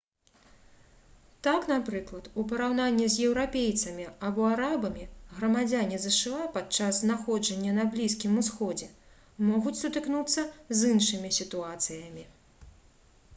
так напрыклад у параўнанні з еўрапейцамі або арабамі грамадзяне зша падчас знаходжання на блізкім усходзе могуць сутыкнуцца з іншымі сітуацыямі